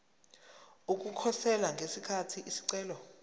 ukukhosela ngesikhathi isicelo